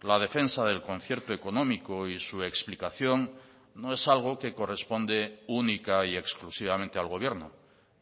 la defensa del concierto económico y su explicación no es algo que corresponde única y exclusivamente al gobierno